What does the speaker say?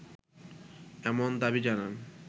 এমন দাবি জানান